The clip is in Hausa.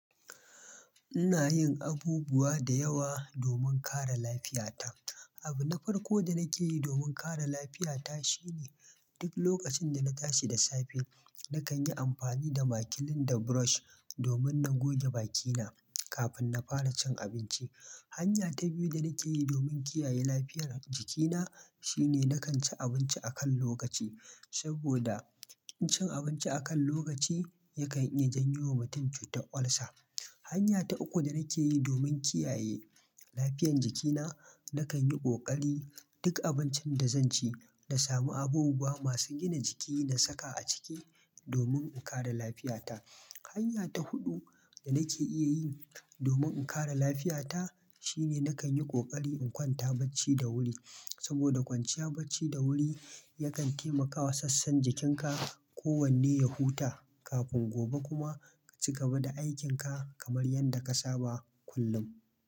Ina yin abubuwa da yawa domin kare lafiyata. Abu na farko da nake yi domin kare lafiyata shine duk lokacin da na tashi da safe, na kan yi amfani da maƙilin da brush domin na goge bakina kafin na fara cin abinci. Hanya ta biyu da nake yi domin kiyaye lafiyar jikina shine na kan ci abinci a kan lokaci. Saboda cin abinci a kan lokaci yakan iya janyo wa mutum cutar ulcer. Hanya ta uku da nake yi domin kiyaye lafiyan jikina na kanyi kokari duk abincin da zanci nasamu abubuwa masu gina jiki nasaka aciki domin in kare lafiyata. Hanya ta huɗu da nake iya yin domin in kare lafiyata shine na kan yi ƙoƙari in kwanta bacci da wuri. Saboda kwanciya bacci da wuri yakan taimakawa sassan jikinka kowanne ya huta kafin gobe kuma ka cigaba da aikinka kamar yadda ka saba kullum.